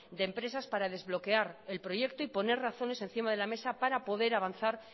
de empresas para desbloquear el proyecto y poner razones encima de la mesa para poder avanzar